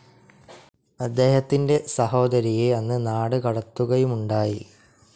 അദ്ദേഹത്തിൻ്റെ സഹോദരിയെ അന്ന് നാടുകടത്തുകയുമുണ്ടായി.